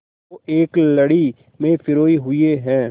को एक लड़ी में पिरोए हुए हैं